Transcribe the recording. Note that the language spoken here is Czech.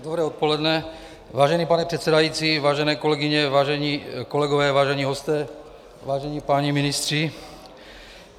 Dobré odpoledne, vážený pane předsedající, vážené kolegyně, vážení kolegové, vážení hosté, vážení páni ministři.